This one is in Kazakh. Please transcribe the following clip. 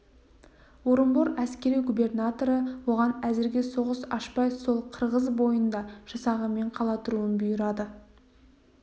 орынбор әскери губернаторы оған әзірге соғыс ашпай сол ырғыз бойында жасағымен қала тұруын бұйырады